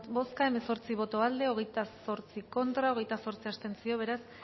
bozka hemezortzi boto aldekoa hogeita zortzi contra hogeita zortzi abstentzio beraz